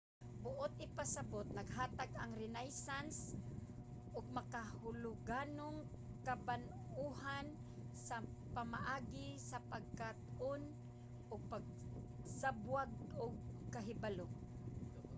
buot ipasabot naghatag ang renaissance og makahuluganong kabag-ohan sa pamaagi sa pagkat-on ug pagsabwag og kahibalo